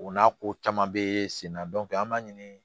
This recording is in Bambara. O n'a ko caman bɛ sen na an b'a ɲini